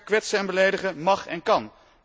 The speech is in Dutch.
Kwetsen en beledigen mag en kan.